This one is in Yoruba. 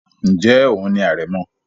ǹjẹ́ òun ni àrẹ̀mọ?